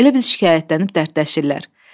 Elə bil şikayətlənib dərdləşirlər.